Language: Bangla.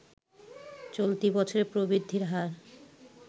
চলতি বছরে প্রবৃদ্ধির হার